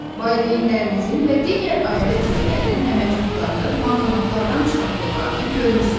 Valideynlərinizin və digər ailə üzvlərinin əmək haqlarını bankomatlardan çıxartdıqlarını görmüsünüz.